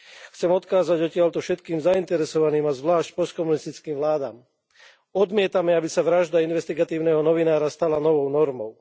Chcem odkázať odtiaľto všetkým zainteresovaným a zvlášť postkomunistickým vládam, odmietame, aby sa vražda investigatívneho novinára novou normou.